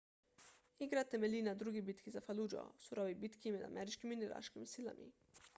igra temelji na drugi bitki za faludžo surovi bitki med ameriškimi in iraškimi silami